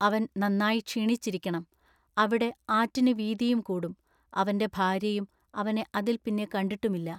അവൻ നന്നാ ക്ഷീണിച്ചിരിക്കെണം. അവിടെ ആറ്റിനു വീതിയും കൂടും അവന്റെ ഭാൎയ്യയും അവനെ അതിൽ പിന്നെ കണ്ടിട്ടുമില്ല.